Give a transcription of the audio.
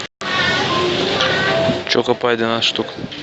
чокопай двенадцать штук